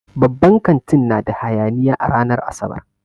Babban kantin na da hayaniya a ranar Asabar.